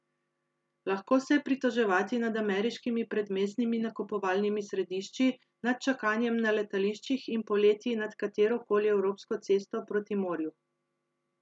Lahko se je pritoževati nad ameriškimi predmestnimi nakupovalnimi središči, nad čakanjem na letališčih in poleti nad katero koli evropsko cesto proti morju.